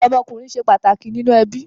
Ọmọkunrin ṣe pataki ninu ẹbi